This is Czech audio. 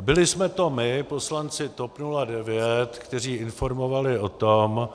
Byli jsme to my, poslanci TOP 09, kteří informovali o tom,